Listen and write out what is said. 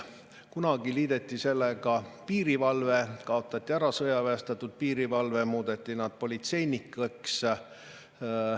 Kunagi liideti sellega piirivalve, sõjaväestatud piirivalve kaotati ära, muudeti piirivalvurid politseinikeks.